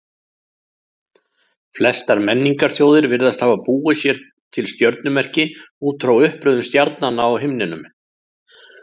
Flestar menningarþjóðir virðast hafa búið sér til stjörnumerki út frá uppröðun stjarnanna á himninum.